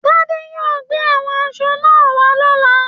Tade yóò gbé àwọn aṣọ náà wà lọ̀la